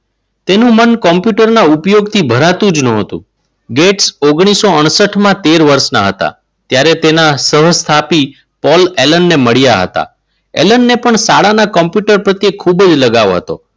તેનું મન કોમ્પ્યુટરના ઉપયોગથી ભરાતું જ ન હતું. ગેટ્સ ઓગણીસો અડસઠમાં તેર વર્ષના હતા ત્યારે તેના સહ સ્થાપીને પોલ એનલ ની મળ્યા હતા. પણ શાળાના કોમ્પ્યુટર પ્રત્યે ખૂબ જ લગાવ હતો.